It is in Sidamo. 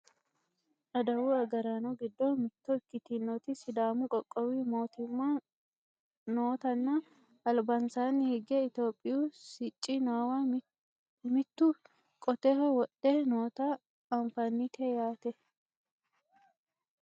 adawu agaraano giddo mitto ikkitinoti sidaamu qoqqowi mootimma nootanna albansaanni hige itiyophiyu sicci noowa mittu qoteho wodhe noota anfannite yaate